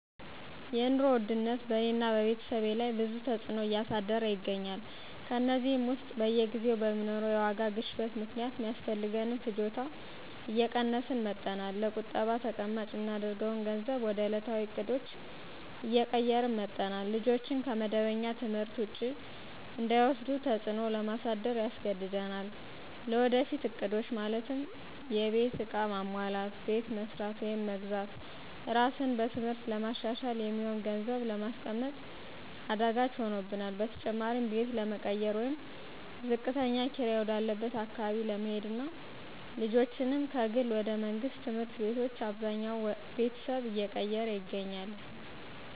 የኑሮ ውድነት በእኔና በቤተሰቤ ላይ ብዙ ተዕጽኖ እያሳደረ ይገኛል። ከእነዚህም ውስጥ በየጊዜው በሚኖረው የዋጋ ግሽበት ምክንያት ሚያስፈልገንን ፍጆታ እየቀነስን መጠናል፣ ለቁጠባ ተቀማጭ ምናደርገውን ገንዘብ ወደ እለታዊ እቅዶች እየቀየርን መጠናል፣ ልጆችን ከመደበኛ ትምህርት ውጪ እንዳይወስዱ ተጽዕኖ ለማሳደር ያስገድደናል። ለወደፊት እቅዶች(የቤት ዕቃ ማሟላት፣ ቤት መስራት ወይም መግዛት፣ ራስን በትምህርት ለማሻሻል) የሚሆን ገንዘብ ለማስቀመጥ አዳጋች ሆኖብናል። በተጨማሪም ቤት ለመቀየር ወይም ዝቅተኛ ኪራይ ወደ አለበት አካባቢ ለመሄድና ልጆችንም ከግል ወደ መንግስት ትምህርት ቤቶች አብዛኛው ቤተሰብ እየቀየረ ይገኛል።